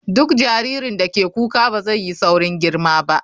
Duk jaririn da ke kuka ba zai yi saurin girma ba.